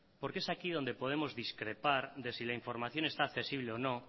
porque es aquí donde podemos discrepar de si la información está accesible o no